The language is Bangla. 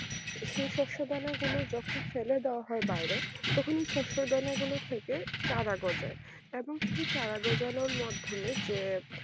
সেই শস্য দানা গুলো তখন ফেলে দেওয়া হয় বাইরে তখনই সরষের দানা গুলো থেকে চারা গজায় এবং সেই ছাড়া গজানোর মধ্যে যে